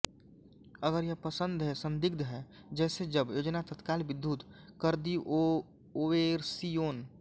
अगर यह पसंद है संदिग्ध है जैसे जब योजना तत्काल विद्युत कर्दिओवेर्सिओन